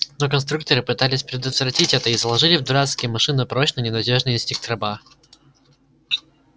но конструкторы пытались предотвратить это и заложили в дурацкие машины прочный ненадёжный инстинкт раба